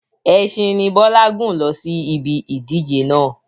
Ẹsin ni Bọlá gun lọ sí ibi ìdíje náà.